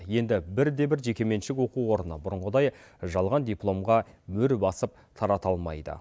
енді бірде бір жеке меншік оқу орны бұрынғыдай жалған дипломға мөр басып тарата алмайды